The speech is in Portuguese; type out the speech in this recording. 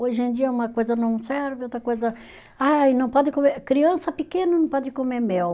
Hoje em dia uma coisa não serve, outra coisa. Ai, não pode comer, criança pequena não pode comer mel.